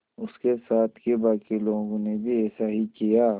उसके साथ के बाकी लोगों ने भी ऐसा ही किया